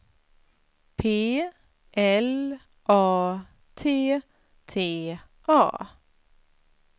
P L A T T A